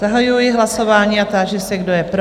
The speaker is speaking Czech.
Zahajuji hlasování a táži se, kdo je pro?